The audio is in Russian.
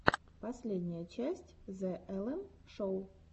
последняя часть зе эллен шоу